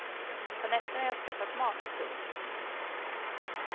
På nätterna har jag skaffat mat. punkt